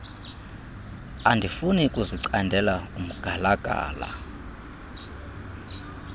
andifuni kuzicandela umgalagala